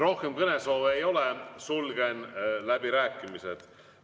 Rohkem kõnesoove ei ole, sulgen läbirääkimised.